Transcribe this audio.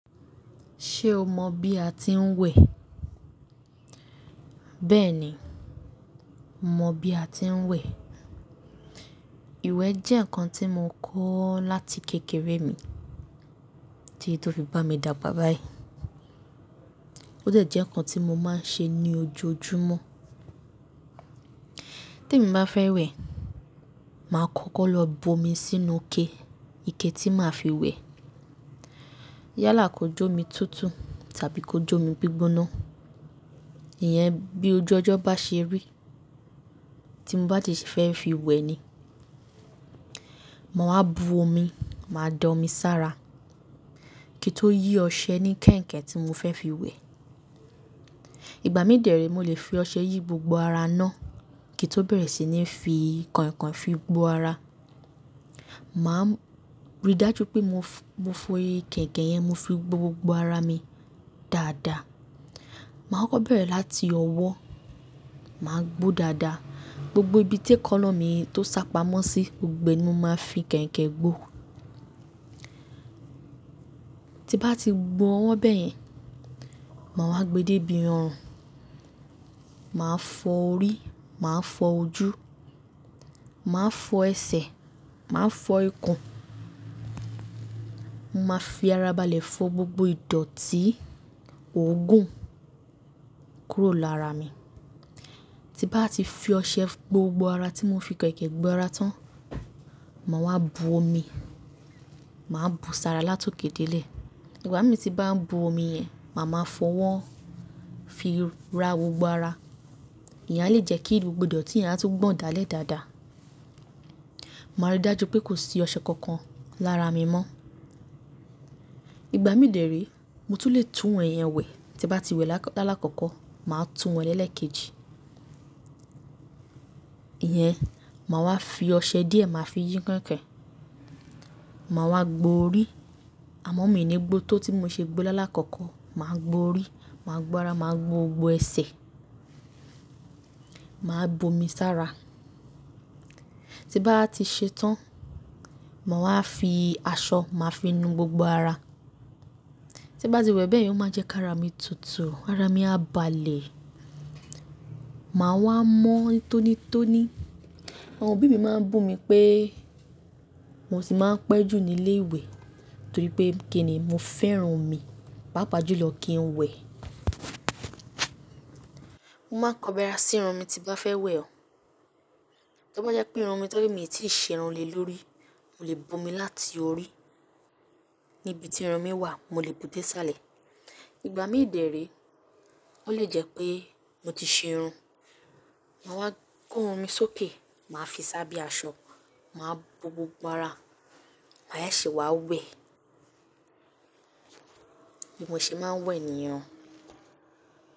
Ṣé o mọ bí a ti ń wẹ̀? Bẹ́ẹ̀ ni, mo mọ bí a ti ń wẹ̀. Ìwẹ̀ jẹ́ nǹkan tí mo kọ́ láti kékeré mi, tí tó fi bá mi dà gbá bà yìí. Ó dẹ̀ jẹ́ nǹkan tí mo máa ń ṣe ní ojoojúmọ́. Te mi bá fẹ́ wẹ̀, màá kọ́kọ́ lọ bo mi sínú ike, ike tí màá fi wẹ̀. Yá là kò jó mi tútù tàbí kò jó mi gbígbóná. Ìyẹn bí ojú ọjọ́ bá ṣe rí tí n bá dẹ̀ ṣe fẹ́ fi wẹ̀ ni. Ma wáa bu omi, màá da omi sára kí n tó yí ọṣẹ ní kẹ̀ǹkẹ̀ tí mo fẹ́ fi wẹ̀. Ìgbà mí dè re, mo lè fi ọṣẹ yí gbogbo ara náà kí n tó bẹ̀rẹ̀ sí ní fi kàìnkàìn fi gbó ara. Màá rí dájú pé mo f-mo fi kẹ̀ǹkẹ̀ yẹn, mo fi gbó gbogbo ara mi dáadáa. Màá kọ́kọ́ bẹ̀rẹ̀ láti ọwọ́, màá gbó dáadáa. Gbogbo ibi tí ekana mi tó sápamọ́ sí, gbogbo ẹ̀ ni mo máa fi kẹ̀ǹkẹ̀ gbó. Ti bá ti gbó wọ́n bẹ́yẹn, màá wá gbe débi ọrùn. Màá fọ orí, màá fọ ojú, màá fọ ẹsẹ̀, màá fọ ikùn. Mo máa fi ara balẹ̀ fọ gbogbo ìdọ̀tí, òógùn kúrò lára mi. Ti bá ti fi ọṣẹ gbó gbogbo ara tí mo fi kẹ̀ǹkẹ̀ gbó ara tán, màá wá bu omi, màá bu sára látòké dé ilé. Ìgbà mí tí bá n bú omi yẹn, màá máa fọ wọ́ fi ra gbogbo ara. Ìyẹn a lè jẹ́ kí gbogbo ìdọ̀tí yẹn á tún gbọ̀n dá lé dàda. Màá rí dájú pé kò sí ọṣẹ kankan lára mi mọ́. Ìgbà mí dè ré, mo tún le tún wẹ̀ yẹn wẹ̀. Ti bá ti wẹ̀ lálákọkọ máa tún wẹ̀ lẹ́lẹ́keji. Ìyẹn, màá wá fi ọṣẹ díẹ̀ màá fi yín kẹ̀ǹkẹ̀. Màá wá gbọ̀ orí, àmọ́ mi ò ní gbó tó tí mo ṣe gbó lálákọkọ. Màá gbọ̀ orí, màá gbọ́ ara, màá gbó gbogbo ẹsẹ̀. Màá bu omi sára. Ti bá ti ṣe tán, màá wá fi aṣọ, màá fi nu gbogbo ara. Ti bá ti wẹ̀ bẹ́ẹ̀ yẹn óò máa n jẹ́ ká ara mi tutù, ara mi á balẹ̀. Màá wá mọ́ tónítóní. Àwọn òbí mi máa ń bú mi pé, mo tì máa ń pẹ́ jù ní ilé ìwẹ̀ torí pé kíni mo fẹ́ràn omi, pàápàá jùlọ kí n wẹ̀. Mo máa kọbi ara sí irun mi tí bá fẹ́ wẹ̀ o. Tí ó bá jẹ́ pé irun mi tó jé mi ò tíì ṣe irun lè lórí, mo lè bu omi láti orí, níbi tí irun mi wà mo lè bú dé sálẹ̀. Ìgbà mí dè re, ó lè jẹ́ pé mo ti ṣe irun, màá wá kó irun mi sókè, màá fi sá be aṣọ, màá gbó gbogbo ara, màá se ṣe wá wẹ̀. Bí mo ṣe máa ń wẹ̀ nìyẹn.